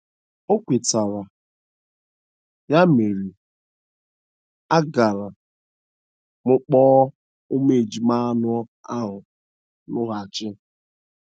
O kwetara, ya mere, agara m kpọrọ ụmụ ejima anọ ahụ loghachi.